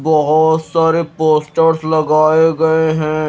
बहोत सारे पोस्टर्स लगाए गए हैं।